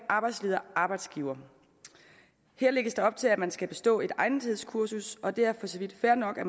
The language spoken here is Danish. arbejdsledere og arbejdsgivere her lægges der op til at man skal bestå et egnethedskursus og det er for så vidt fair nok at